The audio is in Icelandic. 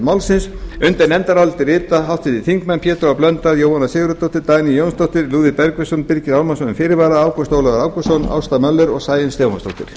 málsins undir nefndarálitið rita háttvirtir þingmenn pétur h blöndal jóhanna sigurðardóttir dagný jónsdóttir lúðvík bergvinsson birgir ármannsson með fyrirvara ágúst ólafur ágústsson ásta möller og sæunn stefánsdóttir